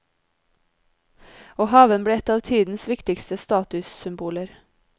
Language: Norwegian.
Og haven ble et av tidens viktigste statussymboler.